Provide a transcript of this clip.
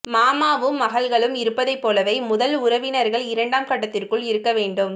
மாமாவும் மகள்களும் இருப்பதைப் போலவே முதல் உறவினர்கள் இரண்டாம் கட்டத்திற்குள் இருக்க வேண்டும்